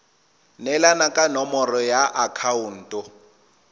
neelana ka nomoro ya akhaonto